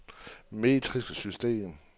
metrisk system